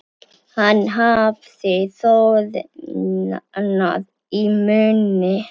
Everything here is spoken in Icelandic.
Hann hafði þornað í munni.